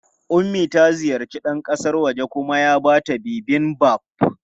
Ummi ta ziyarci ɗan kasan wajen kuma ya ba ta Bibimbap.